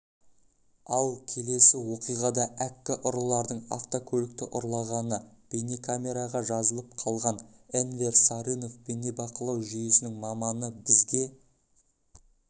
ал келесі оқиғада әккі ұрылардың автокөлікті ұрлағаны бейнекамераға жазылып қалған энвер сарынов бейнебақылау жүйесінің маманы бізге